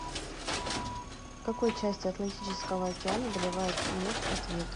в какой части атлантического океана добывают нефть ответ